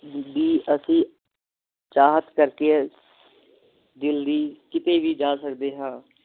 B ਅਸੀਂ ਚਾਹਤ ਕਰਕੇ ਦਿਲ ਦੀ ਕੀਤੇ ਵੀ ਜਾ ਸਕਦੇ ਹਾਂ